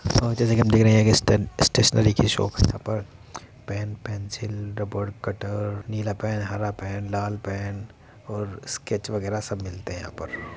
ओ जैसे की हम देख रहे हैं के स्टे स्टेशनरी की शॉप यहाँ पर पेन पेंसिल रबर कटर नीला पेन हरा पेन लाल पेन और स्केच्च वागेरा सब मिलते हैं यहाँ पर।